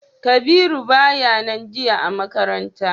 Kabiru baya nan jiya a makaranta.